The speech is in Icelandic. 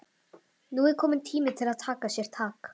Nú er kominn tími til að taka sér tak.